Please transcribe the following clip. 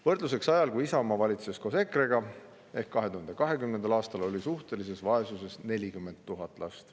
Võrdluseks: ajal, kui Isamaa valitses koos EKRE-ga, ehk 2020. aastal oli suhtelises vaesuses 40 000 last.